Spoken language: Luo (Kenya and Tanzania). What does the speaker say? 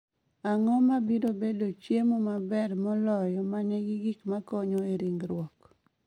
Ang'o mabiro bedo chiemo maber moloyo ma nigi gik ma konyo e ringruok